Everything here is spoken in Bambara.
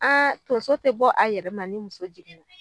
tonso te bɔ a yɛrɛ ma ni muso jiginna.